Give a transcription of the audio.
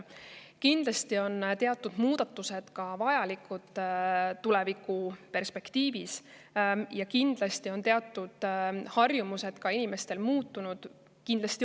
Kindlasti on teatud muudatused tulevikuperspektiivi mõttes vajalikud ja ka inimeste harjumused on kindlasti muutunud.